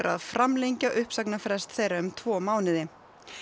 að framlengja uppsagnarfrest þeirra um tvo mánuði